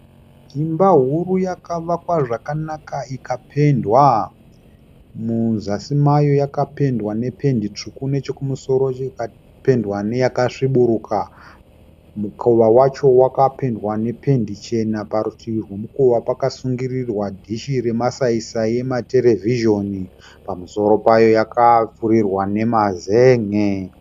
Imba huru yakavakwa zvakanaka ikapendwa . Muzasi mayo yakapendwa nependi tsvuku nechekumusoro ikapendwa neyakasviburuka . Mukowa wacho wakapendwa nependi chena . Parutivi rwemukova pakasungirirwa dhishi remasaisai ematerevhizhoni . Pamusoro payo yakapfurirwa nemazenge.